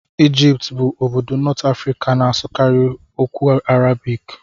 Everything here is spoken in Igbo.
Egypt bụ obodo North Africa na-asụkarị okwu Arabik.